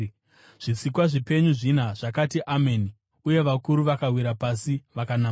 Zvisikwa zvipenyu zvina zvakati, “Ameni,” uye vakuru vakawira pasi vakanamata.